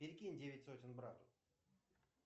перекинь девять сотен брату